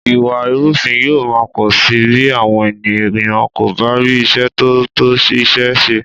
Ìwà ìrúfin yóò má pọ̀ sí bí àwọn ènìyàn kò bá rí iṣẹ́ tó tó iṣẹ́ ṣe